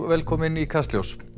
velkomin í Kastljós